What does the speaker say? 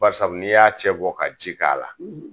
Barisabu n'i y'a cɛ bɔ ka ji k'a la.